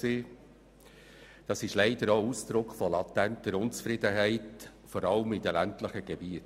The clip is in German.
Dies ist leider auch Ausdruck latenter Unzufriedenheit, vor allem in den ländlichen Gebieten.